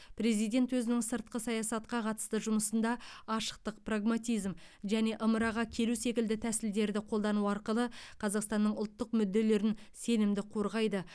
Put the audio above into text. президент өзінің сыртқы саясатқа қатысты жұмысында ашықтық прагматизм және ымыраға келу секілді тәсілдерді қолдану арқылы қазақстанның ұлттық мүдделерін сенімді қорғайды